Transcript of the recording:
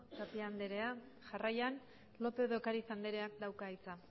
tapia anderea jarraian lópez de ocariz andereak dauka hitza